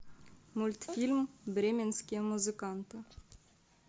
мультфильм бременские музыканты